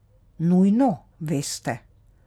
Nujno, veste.